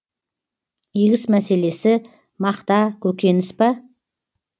егіс мәселесі мақта көкөніс па